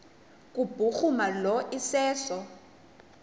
kubhuruma lo iseso